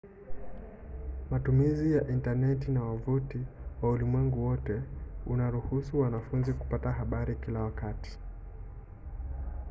matumizi ya intaneti na wavuti wa ulimwengu wote unaruhusu wanafunzi kupata habari kila wakati